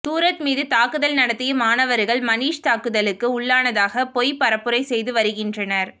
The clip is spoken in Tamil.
சூரஜ் மீது தாக்குதல் நடத்திய மாணவர்கள் மணீஷ் தாக்குதலுக்கு உள்ளானதாக பொய் பரப்புரை செய்து வருகின்றனர்